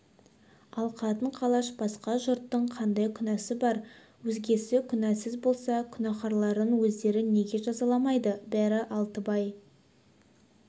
ал қатын-қалаш басқа жұрттың қандай күнәсі бар өзгесі күнәсіз болса күнәһарларын өздері неге жазаламайды бәрі алтыбай